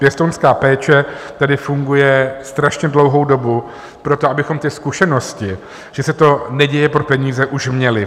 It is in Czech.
Pěstounská péče tady funguje strašně dlouhou dobu pro to, abychom ty zkušenosti, že se to neděje pro peníze, už měli.